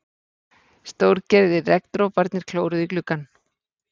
Stórgerðir regndroparnir klóruðu í gluggann.